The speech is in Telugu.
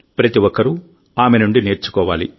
ప్రతి ఒక్కరూ ఆమె నుండి నేర్చుకోవాలి